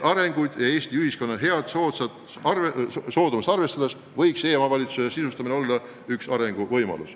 Arvestades Eesti ühiskonna head soodumust sellisteks arenguteks, võiks e-omavalitsuse sisustamine olla üks arenguvõimalusi.